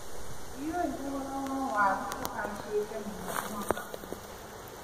Ndiũĩ thogora wa waru ũhacĩte mũno mwaka ũyũ.